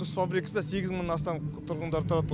құс фабрикасында сегіз мыңнан астам тұрғындар тұрады